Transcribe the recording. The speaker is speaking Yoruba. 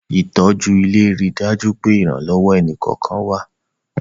Ìtọ́jú ilé ń rí dájú pé ìrànlọ́wọ́ ẹni kọ̀ọ̀kan wa